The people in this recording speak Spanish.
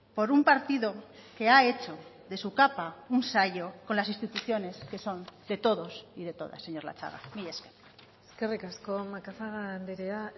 por un partido que ha hecho de su capa un sayo con las instituciones que son de todos y de todas señor latxaga mila esker eskerrik asko macazaga andrea